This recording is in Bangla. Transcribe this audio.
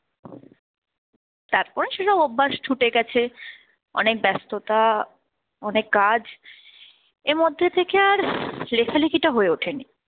তারপরে সেসব অভ্যাস ছুটে গেছে অনেক ব্যস্ততা অনেক কাজ, এর মধ্যে থেকে আর লেখালেখি টা হয়ে ওঠেনি